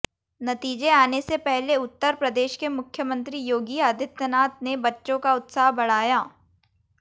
नतीजे आने से पहले उत्तर प्रदेश के मुख्यमंत्री योगी आदित्यनाथ ने बच्चों का उत्साह बढ़ाया